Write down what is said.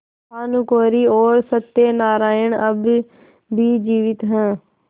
भानुकुँवरि और सत्य नारायण अब भी जीवित हैं